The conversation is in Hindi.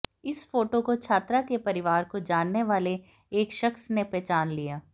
इस फोटो को छात्रा के परिवार को जानने वाले एक शख्स ने पहचान लिया